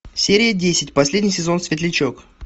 серия десять последний сезон светлячок